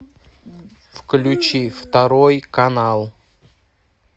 включи второй канал